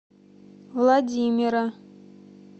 владимира